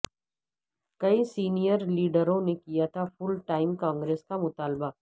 کئی سینئر لیڈروں نے کیا تھا فل ٹائم کانگریس کا مطالبہ